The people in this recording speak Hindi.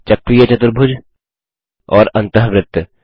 चक्रीय चतुर्भुज और अन्तःवृत्त